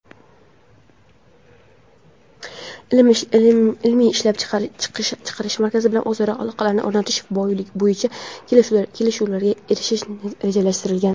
ilmiy-ishlab chiqarish markazi bilan o‘zaro aloqalarni o‘rnatish bo‘yicha kelishuvlarga erishish rejalashtirilgan.